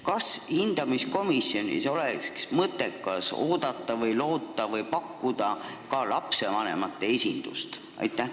Kas hindamiskomisjoni oleks mõttekas pakkuda ka lapsevanemate esindust?